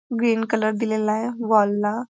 green colour दिलेलाय wall ला --